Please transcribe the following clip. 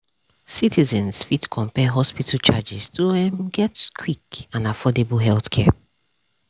dem dey advise residents to compare hospital charges to um get quick and affordable healthcare. um